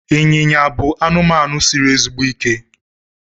ịnyịnya bụ anụmanụ siri ezigbo ike